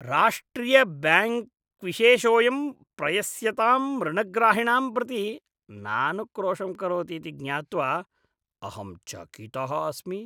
राष्ट्रिय ब्याङ्क्विशेषोयं प्रयस्यतां ऋणग्राहिणां प्रति नानुक्रोशं करोति इति ज्ञात्वा अहं चकितः अस्मि।